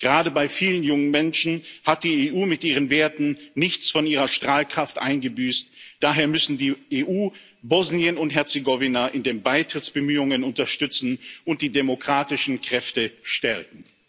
Gerade bei vielen jungen Menschen hat die EU mit ihren Werten nichts von ihrer Strahlkraft eingebüßt, daher muss die EU Bosnien und Herzegowina in den Beitrittsbemühungen unterstützen und die demokratischen Kräfte stärken.